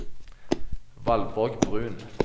Valborg Bruun